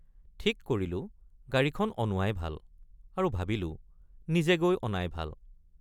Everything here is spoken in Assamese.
ঠিক কৰিলোঁগাড়ীখন অনোৱাই ভাল আৰু ভাবিলোঁ নিজে গৈ অনাই ভাল।